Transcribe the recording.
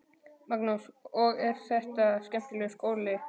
Magnús: Og er þetta skemmtilegur skóli?